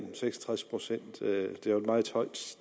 seks og tres procent er jo et meget højt